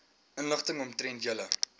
inligting omtrent julle